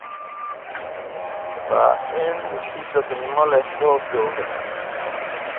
Waa in si dadnimo leh loo gawraco.